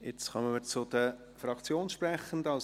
Jetzt kommen wir zu den Fraktionssprechenden;